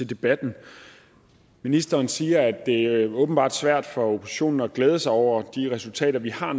debatten ministeren siger at det åbenbart er svært for oppositionen at glæde sig over de resultater vi har